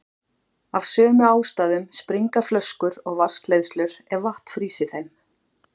Af sömu ástæðum springa flöskur og vatnsleiðslur ef vatn frýs í þeim.